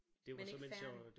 Men ikke færdig